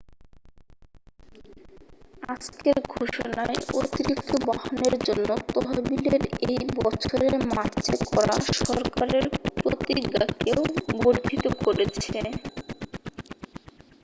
আজকের ঘোষণায় অতিরিক্ত বাহনের জন্য তহবিলের এই বছরের মার্চে করা সরকারের প্রতিজ্ঞাকেও বর্ধিত করেছে